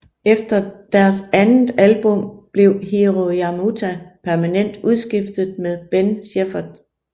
Efter deres andet album blev Hiro Yamamoto permanent udskiftet med Ben Shepherd